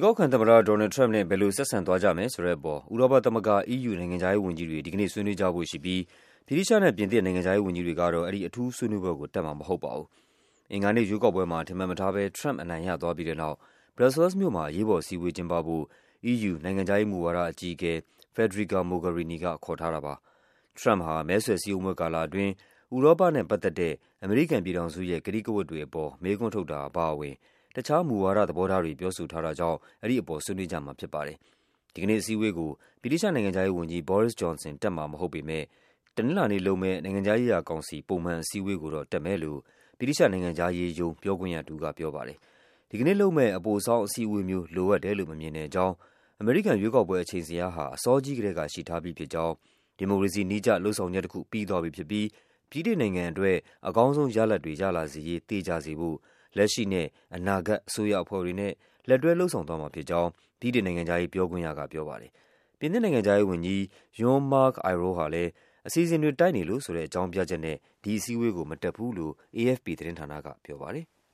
ကောက်ခံသမ္မတ Donald Trump နဲ့ ဘယ်လို ဆက်ဆံသွားကြမယ်ဆိုတဲ့အပေါ် ဥရောပသမဂ္ဂ EU နိုင်ငံခြားရေးဝန်ကြီးတွေ ဒီကနေ့ ဆွေးနွေးကြဖို့ရှိပြီး ဗြိတိသျှနဲ့ ပြင်သစ်နိုင်ငံခြားရေးဝန်ကြီးတွေတော့ အဲဒီ အထူးဆွေးနွေးပွဲကို တက်မှာမဟုတ်ပါဘူး။ အင်္ဂါနေ့ရွေးကောက်ပွဲမှာ ထင်မှတ်မထားဘဲ Trump အနိုင်ရသွားပြီးတဲ့နောက် ဘရပ်ဆဲလ်စ်မြို့မှာ အရေးပေါ်အစည်းအဝေး ကျင်းပဖို့ EU နိုင်ငံခြားရေးမူဝါဒအကြီးအကဲ Federica Mogherini က ခေါ်ထားတာပါ။ Trump ဟာ မဲဆွယ်စည်းရုံးပွဲကာလ အတွင်း ဥရောပနဲ့ပတ်သက်တဲ့ အမေရိကန်ပြည်ထောင်စုရဲ့ ကတိကဝတ်တွေအပေါ် မေးခွန်းထုတ်တာအပါအဝင် တခြားမူဝါဒ သဘောထားတွေ ပြောဆိုထားတာကြောင့် အဲဒီအပေါ် ဆွေးနွေးကြမှာဖြစ်ပါတယ်။ ဒီကနေ့အစည်းအဝေးကို ဗြိတိသျှနိုင်ငံခြားရေးဝန်ကြီး Boris Johnson တက်မှာမဟုတ်ပေမယ့် တနင်္လာနေ့လုပ်မယ့် နိုင်ငံခြား ရေးရာကောင်စီ ပုံမှန်အစည်းအဝေးကိုတော့ တက်မယ်လို့ ဗြိတိသျှနိုင်ငံခြားရေးရုံး ပြောခွင့်ရတဦးက ပြောပါတယ်။ ဒီကနေ့လုပ်မယ့် အပိုဆောင်းအစည်းအဝေးမျိုး လိုအပ်တယ်လို့ မမြင်တဲ့အကြောင်း၊ အမေရိကန်ရွေးကောက်ပွဲ အချိန်ဇယားဟာ အစောကြီးကတည်းက ရှိထားပြီးဖြစ်ကြောင်း၊ ဒီမိုကရေစီနည်းကျ လုပ်ဆောင်ချက်တခု ပြီးသွားပြီဖြစ်ပြီး ဗြိတိန်နိုင်ငံအတွက် အကောင်းဆုံးရလဒ်တွေ ရလာစေရေး သေချာစေဖို့ လက်ရှိနဲ့ အနာဂတ် အစိုးရအဖွဲ့တွေနဲ့ လက်တွဲ လုပ်ဆောင်သွားမှာဖြစ် ကြောင့် ဗြိတိန်နိုင်ငံခြားရေး ပြောခွင့်ရက ပြောပါတယ်။ ပြင်သစ်နိုင်ငံခြားရေးဝန်ကြီး Jean-Marc Ayrault ဟာလည်း အစီအစဉ်တွေ တိုက်နေလို့ဆိုတဲ့ အကြောင်းပြချက်နဲ့ ဒီအစည်း အဝေးကို မတက်ဘူးလို့ AFP သတင်းဌာနကို ပြောပါတယ်။